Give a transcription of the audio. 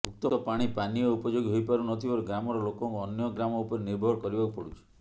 ଉକ୍ତ ପାଣି ପାନୀୟ ଉପଯୋଗୀ ହୋଇପାରୁ ନଥିବାରୁ ଗ୍ରାମର ଲୋକଙ୍କୁ ଅନ୍ୟ ଗ୍ରାମ ଉପରେ ନିର୍ଭର କରିବାକୁ ପଡ଼ୁଛି